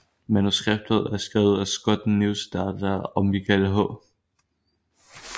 Manuskriptet er skrevet af Scott Neustadter og Michael H